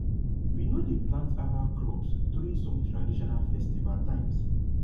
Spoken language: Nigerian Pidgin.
we no dey plant herbal crops during some traditional festival times